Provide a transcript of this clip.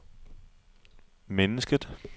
mennesket